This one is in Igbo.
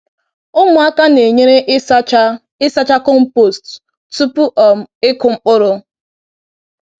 Ụmụaka na-enyere ịsacha ịsacha compost tupu um ịkụ mkpụrụ.